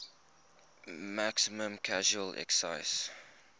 maximum casual excise